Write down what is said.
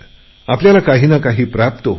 आपल्याला काही न काही प्राप्त होते